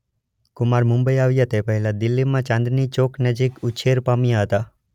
કુમાર મુંબઇ આવ્યા તે પહેલા દિલ્હીમાં ચાંદની ચોક નજીક ઉછેર પામ્યા હતા.